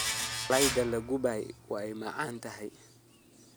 Malaydha lakubay way macanthy.